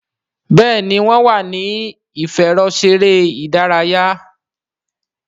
Béèni wón wá ní ìfẹ̀rọṣeré ìdárayá.